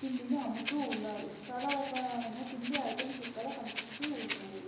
తిండిని అమ్ముతూ ఉన్నారు. చాల రకాల అయిన తిండి ఐటమ్స ఇక్కడ కనిపిస్తూ ఉన్నాయి.